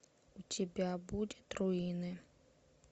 у тебя будет руины